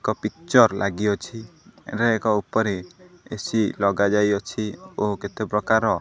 ଏକ ପିକ୍ଚର୍ ଲାଗି ଅଛି ଏବେ ଏକ ଉପରେ ଏ_ସି ଲଗାଯାଇଅଛି ଓ କେତେ ପ୍ରକାର --